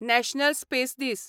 national space दीस